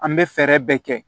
An bɛ fɛɛrɛ bɛɛ kɛ